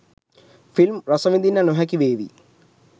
Film රසවිදින්න නොහැකි වේවි.